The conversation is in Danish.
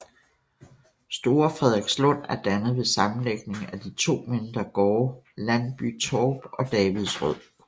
Store Frederikslund er dannet ved sammenlægning af de to mindre gårde Landbytorp og Davidsrød